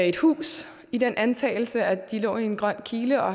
et hus i den antagelse at de lå i en grøn kile og